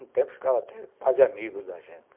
Um tempo ficava até quase amigos da gente.